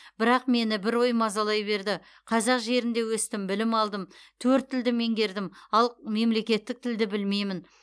бірақ мені бір ой мазалай берді қазақ жерінде өстім білім алдым төрт тілді меңгердім ал мемлекеттік тілді білмеймін